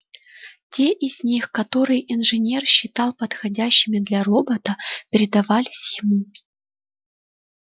те из них которые инженер считал подходящими для робота передавались ему